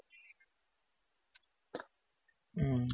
ಹ್ಮ್ಮ್